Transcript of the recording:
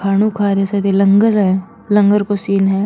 खानो खा रेहो है लंगर है लंगर को सिन